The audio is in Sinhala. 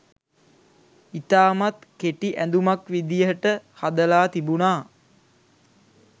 ඉතාමත් කෙටි ඇඳුමක් විදිහට හදලා තිබුණා.